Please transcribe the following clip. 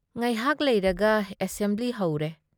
ꯉꯥꯏꯍꯥꯥꯛ ꯂꯩꯔꯒ ꯑꯦꯁꯦꯝꯕ꯭ꯂꯤ ꯍꯧꯔꯦ ꯫